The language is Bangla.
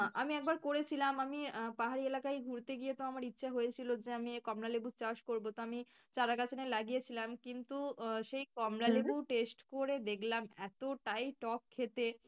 আমি একবার করেছিলাম আমি পাহাড়ি এলাকায় ঘুরতে গিয়ে তো আমার ইচ্ছা হয়েছিলো যে আমি কমলালেবুর চাষ করবো তো আমি চারাগাছ এনে লাগিয়েছিলাম কিন্তু আহ সেই taste করে দেখলাম এতটাই টক খেতে।